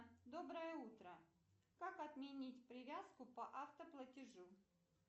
доброе утро как отменить привязку по автоплатежу